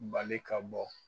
Bali ka bɔ